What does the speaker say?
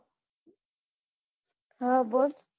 હા બોલ